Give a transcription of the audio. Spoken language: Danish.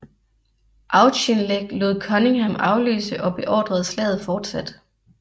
Auchinleck lod Cunningham afløse og beordrede slaget fortsat